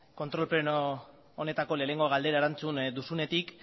kontrol pleno honetako lehenengo galdera erantzun duzunetik